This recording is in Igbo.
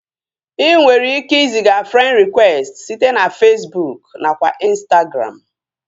Inwere ike iziga frend rịkwesti site na Fesbụụk nakwa Ịnstagram